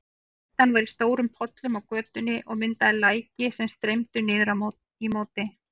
Bleytan var í stórum pollum á götunni og myndaði læki sem streymdu niður í móti.